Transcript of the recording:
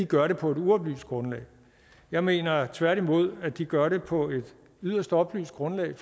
gør det på et uoplyst grundlag jeg mener tværtimod at de gør det på et yderst oplyst grundlag